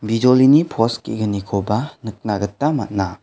bijolini pos ge·gnikoba nikna gita man·a.